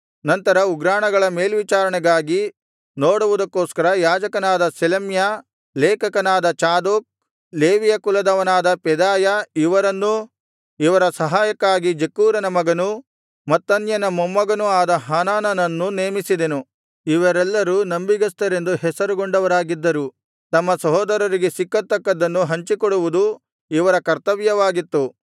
ನಂತರ ಉಗ್ರಾಣಗಳ ಮೇಲ್ವಿಚಾರಣೆಗಾಗಿ ನೋಡುವುದಕ್ಕೋಸ್ಕರ ಯಾಜಕನಾದ ಶೆಲೆಮ್ಯ ಲೇಖಕನಾದ ಚಾದೋಕ್ ಲೇವಿಯ ಕುಲದವನಾದ ಪೆದಾಯ ಇವರನ್ನೂ ಇವರ ಸಹಾಯಕ್ಕಾಗಿ ಜಕ್ಕೂರನ ಮಗನೂ ಮತ್ತನ್ಯನ ಮೊಮ್ಮಗನೂ ಆದ ಹಾನಾನನನ್ನೂ ನೇಮಿಸಿದೆನು ಇವರೆಲ್ಲರೂ ನಂಬಿಗಸ್ತರೆಂದು ಹೆಸರುಗೊಂಡವರಾಗಿದ್ದರು ತಮ್ಮ ಸಹೋದರರಿಗೆ ಸಿಕ್ಕತಕ್ಕದ್ದನ್ನು ಹಂಚಿಕೊಡುವುದು ಇವರ ಕರ್ತವ್ಯವಾಗಿತ್ತು